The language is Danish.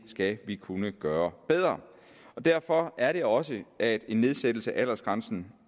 skal vi kunne gøre bedre derfor er det også at en nedsættelse af aldersgrænsen